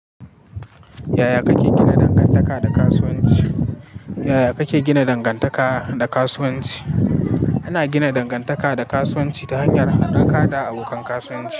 Yaya kake gina dangantaka da kasuwanci? Yaya kake gina dangantaka da kasuwanci? Ana gina dangantaka da kasuwanci ta hanyar haɗa ka da abokan kasuwanci.